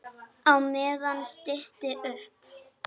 Á meðan stytti upp.